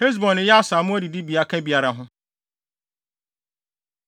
Hesbon ne Yaser a mmoa adidibea ka biara ho.